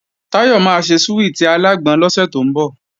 Táyọ̀ máa ṣe súwìtì alágbọn lọ́sẹ̀ tó ń bọ̀